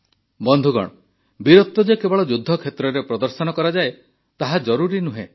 ବନ୍ଧୁଗଣ ବୀରତ୍ୱ ଯେ କେବଳ ଯୁଦ୍ଧକ୍ଷେତ୍ରରେ ପ୍ରଦର୍ଶନ କରାଯାଏ ତାହା ଜରୁରୀ ନୁହେଁ